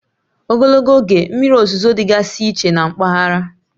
Ogologo oge mmiri ozuzo dịgasị iche na mpaghara